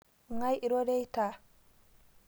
Ngai iroreita?